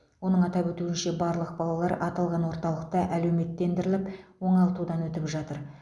оның атап өтуінше барлық балалар аталған орталықта әлеуметтендіріліп оңалтудан өтіп жатыр